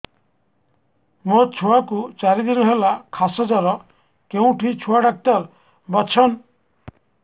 ମୋ ଛୁଆ କୁ ଚାରି ଦିନ ହେଲା ଖାସ ଜର କେଉଁଠି ଛୁଆ ଡାକ୍ତର ଵସ୍ଛନ୍